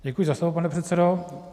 Děkuji za slovo, pane předsedo.